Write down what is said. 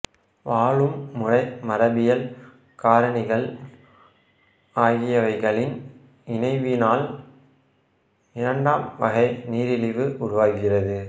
வாழும் முறை மரபியல் காரணிகள் ஆகியவைகளின் இணைவினால் இரண்டாம் வகை நீரிழிவு உருவாகிறது